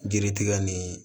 Yiri tigɛ ni